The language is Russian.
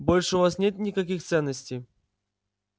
больше у вас нет никаких ценностей